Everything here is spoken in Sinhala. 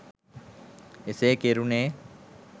එසේ කෙරුනේ